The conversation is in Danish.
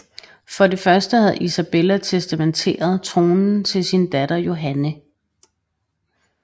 For det første havde Isabella testamenteret tronen til sin datter Johanne